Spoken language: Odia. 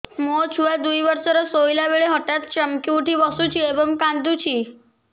ମୋ ଛୁଆ ଦୁଇ ବର୍ଷର ଶୋଇଲା ବେଳେ ହଠାତ୍ ଚମକି ଉଠି ବସୁଛି ଏବଂ କାଂଦୁଛି